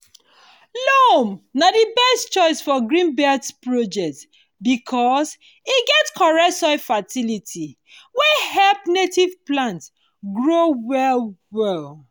loam na di best choice for green belt projects because e get correct soil fertility wey help native plants grow well well.